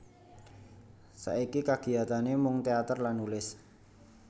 Saiki kagiyatane mung teater lan nulis